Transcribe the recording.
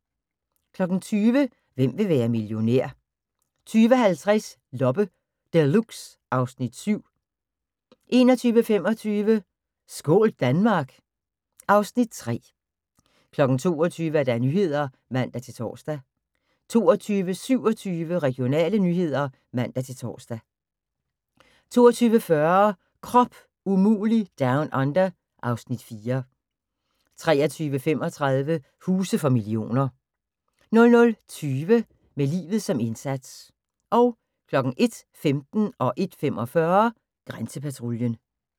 20:00: Hvem vil være millionær? 20:50: Loppe Deluxe (Afs. 7) 21:25: Skål Danmark! (Afs. 3) 22:00: Nyhederne (man-tor) 22:27: Regionale nyheder (man-tor) 22:40: Krop umulig Down Under (Afs. 4) 23:35: Huse for millioner 00:20: Med livet som indsats 01:15: Grænsepatruljen 01:45: Grænsepatruljen